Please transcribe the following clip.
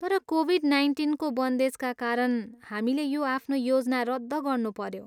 तर कोभिड नाइन्टिनको बन्देजका कारण, हामीले यो आफ्नो योजना रद्द गर्नुपऱ्यो।